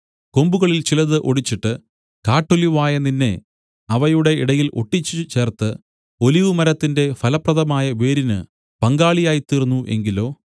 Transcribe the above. കൊമ്പുകളിൽ ചിലത് ഒടിച്ചിട്ട് കാട്ടൊലിവായ നിന്നെ അവയുടെ ഇടയിൽ ഒട്ടിച്ചു ചേർത്ത് ഒലിവുമരത്തിന്റെ ഫലപ്രദമായ വേരിന് പങ്കാളിയായിത്തീർന്നു എങ്കിലോ